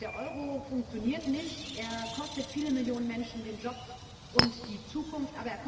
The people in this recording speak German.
Der Euro funktioniert nicht, er kostet viele Millionen Menschen den Job und die Zukunft.